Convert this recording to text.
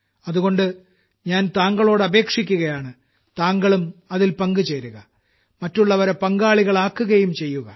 അതുകൊണ്ട് ഞാൻ താങ്കളോട് അപേക്ഷിക്കുകയാണ് താങ്കളും അതിൽ പങ്കുചേരുക മറ്റുള്ളവരെ പങ്കാളികളാക്കുകരയും ചെയ്യുക